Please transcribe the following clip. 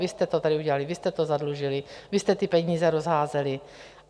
Vy jste to tady udělali, vy jste to zadlužili, vy jste ty peníze rozházeli.